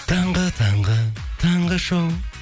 таңғы таңғы таңғы шоу